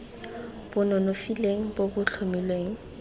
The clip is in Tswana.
bo nonofileng bo bo tlhomilweng